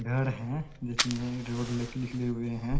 घर है जिसमे रोड निकले हुए है।